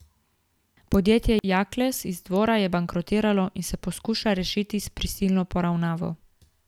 Podjetje Jakles iz Dvora je bankrotiralo in se poskuša rešiti s prisilno poravnavo.